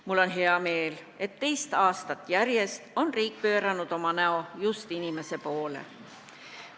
Mul on hea meel, et teist aastat järjest on riik pööranud oma näo just inimese poole.